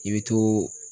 I bɛ to